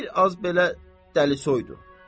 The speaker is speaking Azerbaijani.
Bir az belə dəlisoydu.